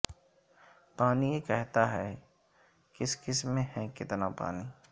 پانی یہ کہتا ہے کس کس میں ہے کتناپانی